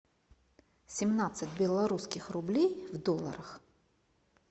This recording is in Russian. семнадцать белорусских рублей в долларах